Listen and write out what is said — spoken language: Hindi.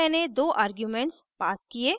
यहाँ मैंने दो आर्ग्यूमेंट्स passed किये